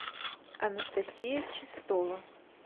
анастасия чистова